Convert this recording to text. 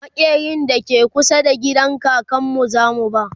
maƙerin da ke kusa da gidan kakanmu zamu ba